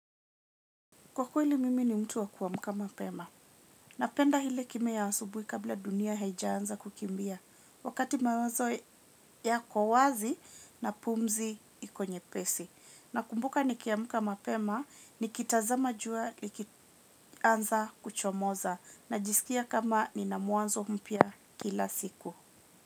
Kwa kweli mimi ni mtu wa kuamka mapema. Napenda ile kimya ya asubuhi kabla dunia haijaanza kukimbia. Wakati mawazo yako wazi na pumzi iko nyepesi. Nakumbuka nikiamka mapema nikitazama jua likianza kuchomoza. Najisikia kama nina mwanzo mpya kila siku.